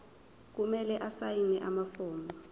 kumele asayine amafomu